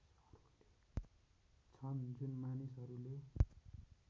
छन् जुन मानिसहरूले